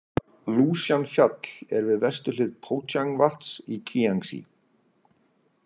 Lúsjan- fjall er við vesturhlið Pójang- vatns i Kíangsí.